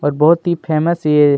और बहुत ही फेमस ये --